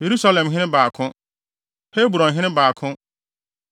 Yerusalemhene 2 baako 1 Hebronhene 2 baako 1